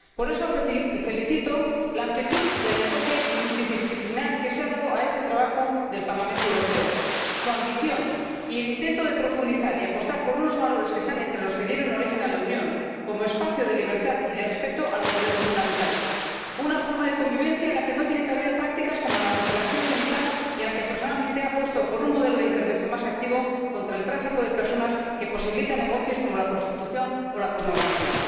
Por eso felicito la amplitud y el enfoque multidisciplinar que se han dado a este trabajo del Parlamento Europeo, su ambición y el intento de profundizar y apostar por unos valores que están entre los que dieron origen a la Unión como espacio de libertad y de respeto de los derechos fundamentales, una forma de convivencia en la que no tienen cabida prácticas como la mutilación genital y en el marco de la que personalmente apuesto por un modelo de intervención más activo contra el tráfico de personas, que posibilita negocios como la prostitución o la pornografía.